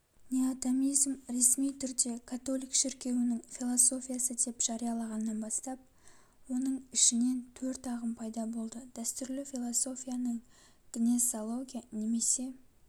неотомизм ресми түрде католик шіркеуінің философиясы деп жариялағаннан бастап оның ішінен төрт ағым пайда болды дәстүрлі-философияның гнесология немесе